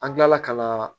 An kilala ka na